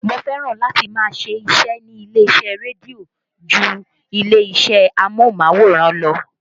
Mo fẹ́ràn láti máa ṣíṣe nílé iṣẹ́ rédíó ju ilé-iṣẹ́ amóhùnmáwòrán lọ